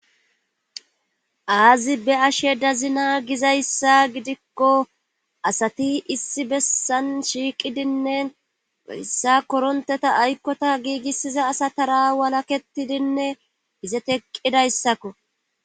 aazi be ashe dazina gizayssa gidikko asati issi bessan shiiqidinne yssa koronteta aykkota giigissiza asa tara walaketidinne izeteqqidayssakko